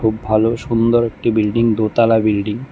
ভালো সুন্দর একটি বিল্ডিং দোতালা বিল্ডিং ।